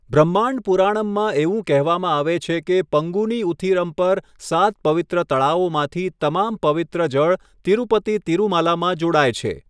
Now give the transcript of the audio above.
બ્રહ્માંડ પુરાણમમાં એવું કહેવામાં આવે છે કે પંગુની ઉથિરમ પર સાત પવિત્ર તળાવોમાંથી તમામ પવિત્ર જળ તિરુપતિ તિરુમાલામાં જોડાય છે.